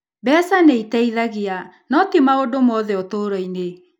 Mbeca nĩ itũteithagia, no ti maũndũ mothe ũtũũro-inĩ.